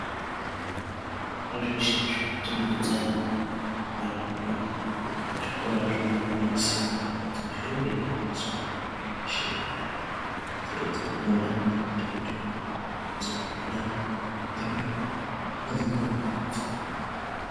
Pazveshe zvakatenderedza nharaunda zvikora zviri kugwinyisira kuti zvinge zveizopuwa mwana weshe nekodzero dzakona dzinoita kuti vana vange veizofunda zvakanaka vasazoita madambudziko.